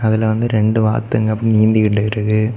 இதுல வந்து ரெண்டு வாத்துங்க ஆப் நீந்திகிட்டு இருக்கு.